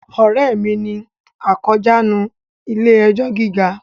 Ọ̀rẹ́ mi ni akójàánu ilé ẹjọ́ gíga